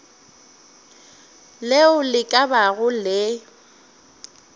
leo le ka bago le